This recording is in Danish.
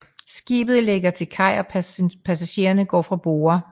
Skibet lægger til kaj og passagerer går fra borde